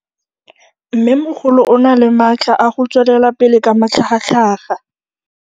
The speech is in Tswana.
Mmêmogolo o na le matla a go tswelela pele ka matlhagatlhaga.